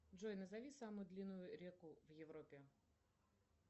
джой назови самую длинную реку в европе